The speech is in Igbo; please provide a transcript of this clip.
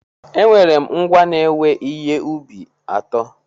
Enwere m ngwá na-ewe ihe ubi atọ.